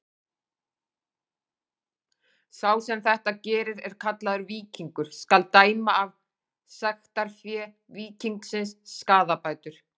Sá sem þetta gerir er kallaður víkingur: skal dæma af sektarfé víkingsins skaðabætur.